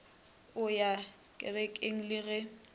o ya renkeng le ge